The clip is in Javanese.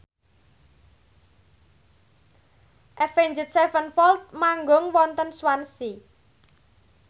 Avenged Sevenfold manggung wonten Swansea